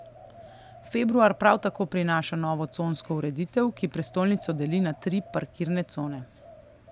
Februar prav tako prinaša novo consko ureditev, ki prestolnico deli na tri parkirne cone.